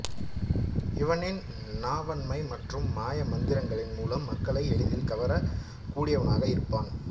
இவனின் நாவன்மை மற்றும் மாய மந்திரங்களின் மூலம் மக்களை எளிதில் கவரக்கூடியவனாக இருப்பான்